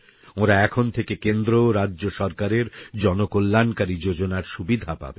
ওঁরা এখন থেকে কেন্দ্র ও রাজ্য সরকারের জনকল্যাণকারী যোজনার সুবিধা পাবেন